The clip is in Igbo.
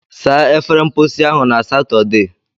Saa efere mposi ahụ na Satọde!